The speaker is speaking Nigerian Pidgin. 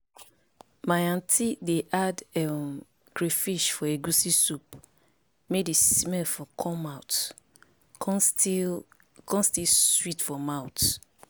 my anuty dey add um crayfish for egusi soup may the smell for come out con still con still sweet for mouth